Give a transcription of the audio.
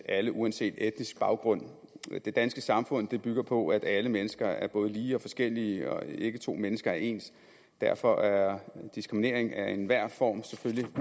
alle uanset etnisk baggrund det danske samfund bygger på at alle mennesker er både lige og forskellige og at ikke to mennesker er ens derfor er diskriminering af enhver form selvfølgelig